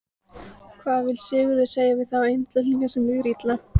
Hvað vill Sigurður segja við þá einstaklinga sem líður illa?